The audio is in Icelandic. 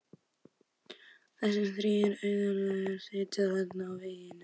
Þessir þrír auðnuleysingjar sitja þarna á veggnum.